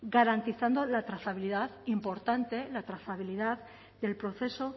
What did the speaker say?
garantizando la trazabilidad importante la trazabilidad del proceso